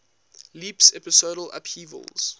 leaps episodal upheavals